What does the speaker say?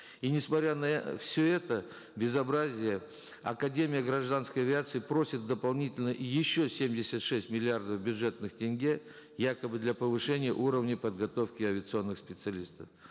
и несмотря на все это безобразие академия гражданской авиации просит дополнительно еще семьдесят шесть миллиардов бюджетных тенге якобы для повышения уровня подготовки авиационных специалистов